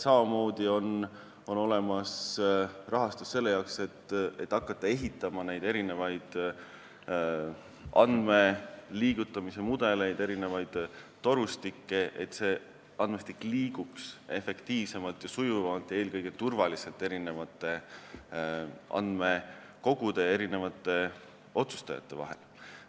Samuti on olemas rahastus selleks, et hakata ehitama erinevaid andmeliigutamise mudeleid, n-ö torustikke, et andmestik liiguks efektiivsemalt, sujuvamalt ja eelkõige turvaliselt eri andmekogude ja otsustajate vahel.